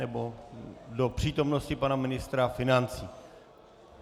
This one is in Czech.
Nebo do přítomnosti pana ministra financí?